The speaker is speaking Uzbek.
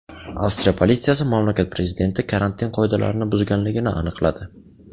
Avstriya politsiyasi mamlakat prezidenti karantin qoidalarini buzganligini aniqladi.